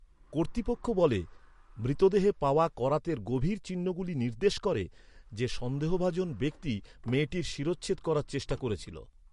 কর্তৃপক্ষ বলে, মৃতদেহে পাওয়া করাতের গভীর চিহ্নগুলি নির্দেশ করে যে সন্দেহভাজন ব্যক্তি মেয়েটির শিরচ্ছেদ করার চেষ্টা করেছিল।